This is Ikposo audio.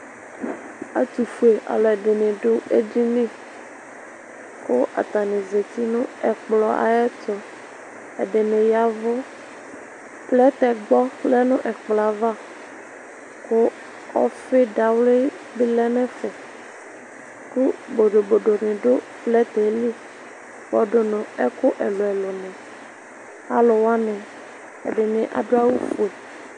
̄Ɛtʋfuealu ɛdɩnɩ adu edini, kʋ atani azǝti nʋ ɛkplɔ ayɛtʋ Ɛdɩnɩ ya ɛvʋ Plɛtɛgba lɛ nʋ ɛkplɔ yɛ ava, kʋ ɔfɩdawli dɩ lɛ nʋ ɛfɛ, kʋ bodobodo nɩ du plɛtɛ yɛ li yǝdʋ nʋ ɛkʋ ɛlʋ ɛlʋ ɛlʋ Alu wani ɛdɩnɩ adu awufue